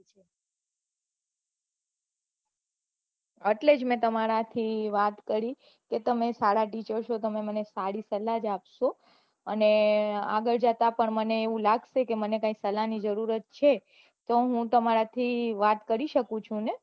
એટલે જ મેં તમારા થી વાત કરી કે તમે સારા teacher છો તમે મને સારી સલાહ જ આપસો અને આગળ જતા મને એવું લાગશે મને ક્યાંઈ સલાહ ની જરૂરત છે તો હું તમારા થી વાત કરી શકું છું ને